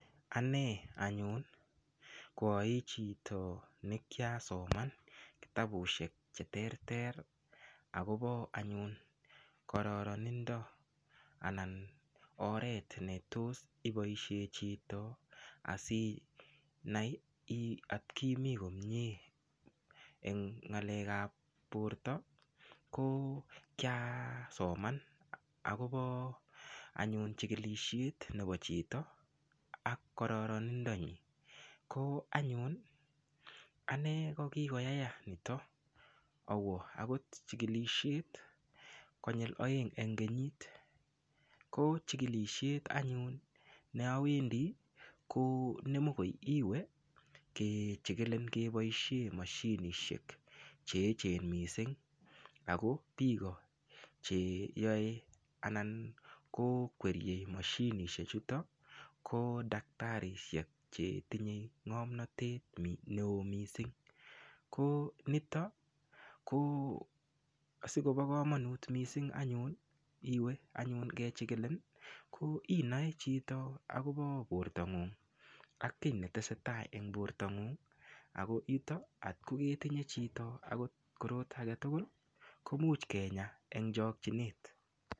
Ane anyun koai chito nekiasoman kitabusiek cheterter akobo anyun kararindo anan oret ne tos ipoishe chito aainai otkimi komnyee eng' ng'alek ab porto ko kiasoman akobo anyun chikilisiet nebo chito ak kararindo nyin ko anyun ane kokigoyaya nitok awo akot chikilisiet konyil aeng' eng' kenyit ko chikilisiet anyun ne awendi ko nemokoi iwe kechikilin kepoishe moshinisiek che echen mising' ako piko cheyoe anan ko kwerie moshinisiek chutok ko daktarisiek chetinye ng'omnatet neo mising' ko nitok ko sikopo komanut mising' anyun iwe anyun kechikilin ko inaechito akobo porto ng'ung ak kiy netesetai eng' porto ng'ung ako yutok otko ketinye chito akot korot agetugul komuch kenyaa eng' chokchinet.